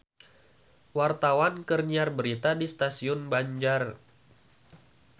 Wartawan keur nyiar berita di Stasiun Banjar